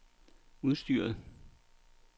udstyret